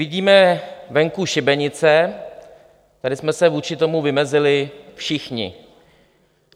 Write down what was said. Vidíme venku šibenice, tady jsme se vůči tomu vymezili všichni.